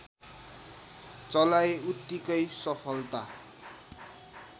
चलाई उत्तिकै सफलता